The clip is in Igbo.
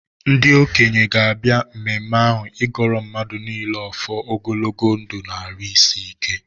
Ndị okenye ga-abịa mmemme ahụ ịgọọrọ mmadụ niile ọfọ ogologo ndụ na-arụ isi ike.